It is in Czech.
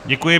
Děkuji.